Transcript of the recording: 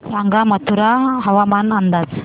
सांगा मथुरा हवामान अंदाज